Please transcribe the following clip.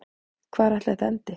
Hvar ætli þetta endi?